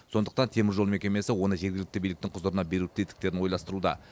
сондықтан теміржол мекемесі оны жергілікті биліктің құзырына беру тетіктерін ойластыруда